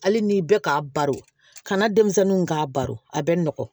Hali ni bɛ k'a baro kana denmisɛnninw k'a baro a bɛ nɔgɔn